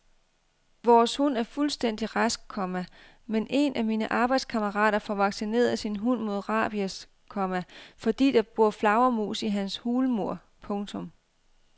Vores hund er fuldstændig rask, komma men en af mine arbejdskammerater får vaccineret sin hund mod rabies, komma fordi der bor flagermus i hans hulmur. punktum